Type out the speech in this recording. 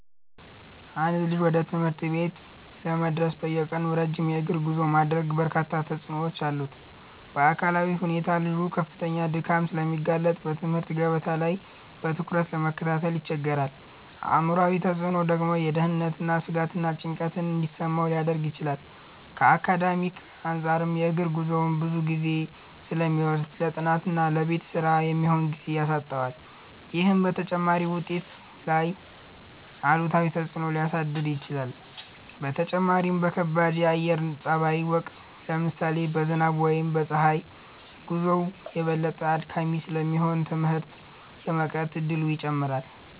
አንድ ልጅ ወደ ትምህርት ቤት ለመድረስ በየቀኑ ረጅም የእግር ጉዞ ማድረጉ በርካታ ተጽዕኖዎች አሉት። በአካላዊ ሁኔታ ልጁ ለከፍተኛ ድካም ስለሚጋለጥ በትምህርት ገበታ ላይ በትኩረት ለመከታተል ይቸገራል። አእምሯዊ ተጽዕኖው ደግሞ የደህንነት ስጋትና ጭንቀት እንዲሰማው ሊያደርግ ይችላል። ከአካዳሚክ አንፃርም የእግር ጉዞው ብዙ ጊዜ ስለሚወስድ ለጥናትና ለቤት ስራ የሚሆን ጊዜ ያሳጣዋል። ይህም በተማሪው ውጤት ላይ አሉታዊ ተጽዕኖ ሊያሳድር ይችላል። በተጨማሪም በከባድ የአየር ጸባይ ወቅት (ለምሳሌ በዝናብ ወይም በፀሐይ) ጉዞው የበለጠ አድካሚ ስለሚሆን ትምህርት የመቅረት እድሉን ይጨምራል።